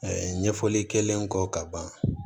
ɲɛfɔli kɛlen kɔ ka ban